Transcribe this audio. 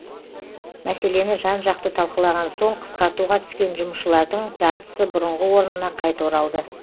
мәселені жан жақты талқылаған соң қысқартуға түскен жұмысшылардың жартысы бұрынғы орнына қайта оралды